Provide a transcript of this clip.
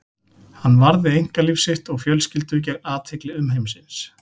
Hann varði einkalíf sitt og fjölskyldu gegn athygli umheimsins.